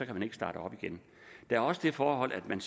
kan ikke starte op igen der er også det forhold at man